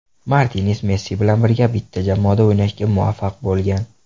Martines Messi bilan birga bitta jamoada o‘ynashga muvaffaq bo‘lgan.